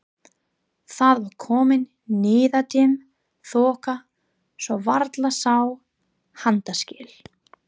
Það var komin niðadimm þoka svo varla sá handaskil.